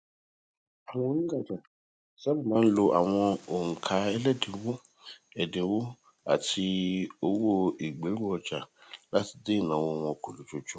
àwọn onrajà sáabà máa ń lo àwọn onkaẹlẹdininwo ẹdinwo àti owó ìgberuọja láti dín ìnáwó wọn kù lójoojúmó